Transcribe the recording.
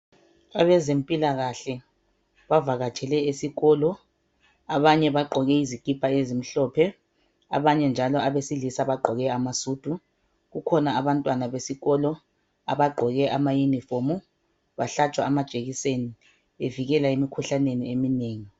Abezempilakahle bavakatshele esikolo abanye bagqoke izikipa ezimhlophe abanye njalo abesilisa bagqoke amasudu kukhona njalo abantwana besikolo abagqoke ama uniform bahlatshwa amajekiseni bevikela emkhuhlaneni eminengi